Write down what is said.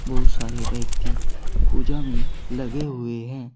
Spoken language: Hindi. बहुत सारे व्यक्ति पूजा में लगे हुए है।